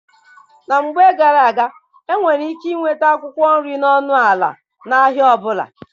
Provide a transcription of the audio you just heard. Na mgbe gara-aga, e nwere ike inweta akwụkwọ nri n'ọnụ ala n'ahịa ọbụla.